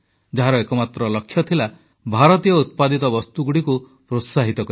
ଯାହାର ଏକମାତ୍ର ଲକ୍ଷ୍ୟ ଥିଲା ଭାରତୀୟ ଉତ୍ପାଦିତ ବସ୍ତୁଗୁଡ଼ିକୁ ପ୍ରୋତ୍ସାହିତ କରିବା